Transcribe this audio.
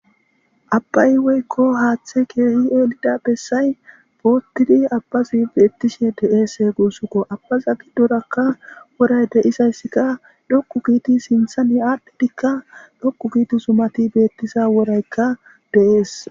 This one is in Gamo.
Abbayi woyikko hathayi deyida bessayi boxxidi abazi betishe deyesi abaza gidorakka wora deyizdeyizasika dhoqu sinthani yanidi dhoqu gidi zumayika deyesi.